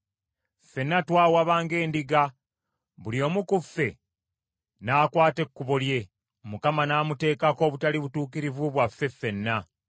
Ffenna twawaba ng’endiga; buli omu ku ffe n’akwata ekkubo lye; Mukama n’amuteekako obutali butuukirivu bwaffe ffenna.